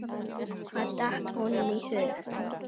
Hvað datt honum í hug?